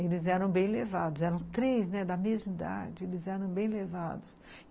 Eles eram bem levados, eram três da mesma idade, eles eram bem levados.